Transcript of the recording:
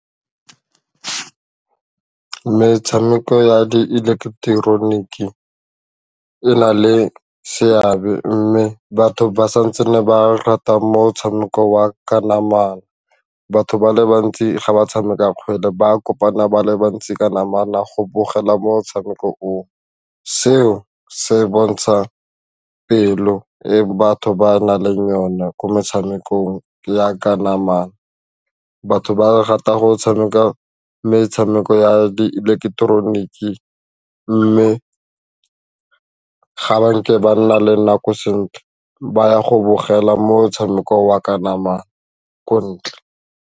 Metshameko ya di eleketeroniki e na le seabe mme batho ba sa ntsene ba rata motshameko wa ka namana batho ba le bantsi ga ba tshameka kgwele ba kopana ba le bantsi ka namana go bogela motshameko oo, seo se bontsha pelo e batho ba nang le yona ko metshamekong yaka namana batho ba rata go tshameka metshameko ya ileketeroniki mme ga nke ba nna le nako sentle ba ya go bogela metshameko wa ka namana ko ntle.